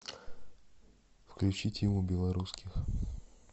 включи тиму белорусских